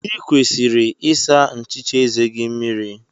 Ị kwesịrị ịsa nchicha eze gị mmiri.